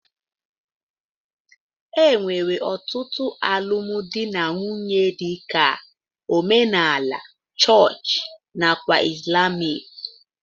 enwere otụtu alụmdi na nwunye dika: omenala, chọọch nakwa islamic. dgz